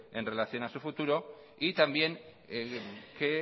en relación a su futuro y también que